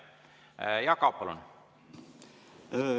Jaak Aab, palun!